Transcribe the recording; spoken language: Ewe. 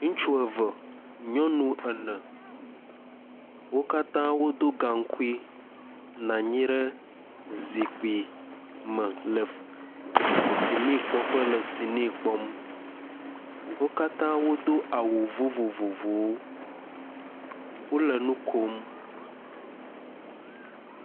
Ŋutsu eve, nyɔnu ene, wo katã wodo gaŋkui nɔ anyi ɖe zikpui me le sini kpɔm le sini kpɔƒe, wo katã wodo awu vovovovowo, wole nu kom.